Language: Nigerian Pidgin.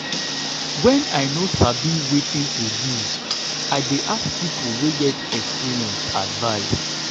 wen i no sabi wetin to do i dey ask pipu wey get experience advice.